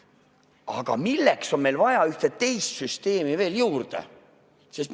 Aga milleks on meil vaja ühte teist süsteemi veel juurde?